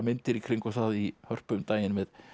myndir í kringum það í Hörpu um daginn með